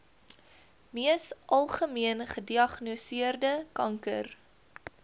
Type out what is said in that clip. mees algemeengediagnoseerde kanker